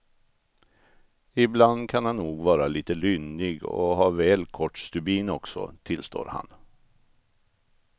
Ibland kan han nog vara lite lynnig och ha väl kort stubin också, tillstår han.